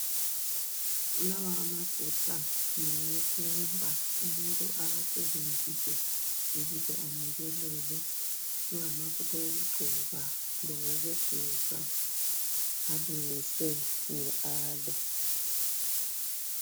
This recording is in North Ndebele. Lawa amafutha ngawokuba umuntu awasebenzise ukuze anukelele. Ngamafutha okugcoba lawokugeza alungiswe nge aloe.